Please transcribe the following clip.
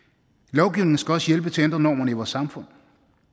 lovgivningen skal også hjælpe til at ændre normerne i vores samfund